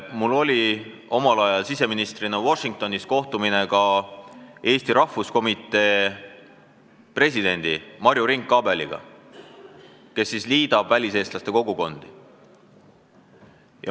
Mul oli omal ajal siseministrina Washingtonis kohtumine ka eesti rahvuskomitee presidendi Marju Rink-Abeliga, kes tegutseb selle nimel, et liita väliseestlaste kogukondi.